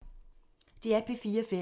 DR P4 Fælles